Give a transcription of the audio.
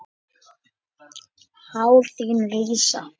Hár þín rísa.